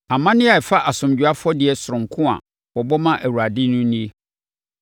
“ ‘Amanneɛ a ɛfa asomdwoeɛ afɔdeɛ sononko a wɔbɔ ma Awurade no nie: